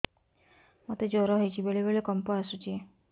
ମୋତେ ଜ୍ୱର ହେଇଚି ବେଳେ ବେଳେ କମ୍ପ ଆସୁଛି